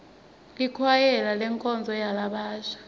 likwayela lenkonzo yalabasha